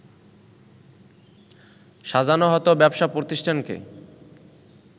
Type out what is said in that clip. সাজানো হতো ব্যবসা প্রতিষ্ঠানকে